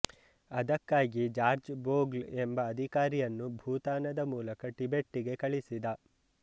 ಅದಕ್ಕಾಗಿ George Bogle ಎಂಬ ಅಧಿಕಾರಿಯನ್ನು ಭೂತಾನದ ಮೂಲಕ ಟಿಬೆಟ್ಟಿಗೆ ಕಳಿಸಿದ